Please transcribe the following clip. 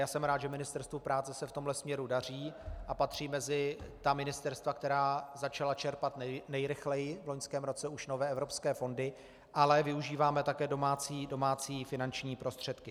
Já jsem rád, že Ministerstvu práce se v tomto směru daří a patří mezi ta ministerstva, která začala čerpat nejrychleji v loňském roce už nové evropské fondy, ale využíváme také domácí finanční prostředky.